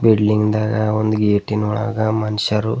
building ದಾಗ ಒಂದು ಗೇಟಿನ್ ಒಳಗ ಮನುಷ್ಯರು--